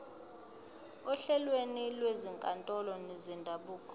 ohlelweni lwezinkantolo zendabuko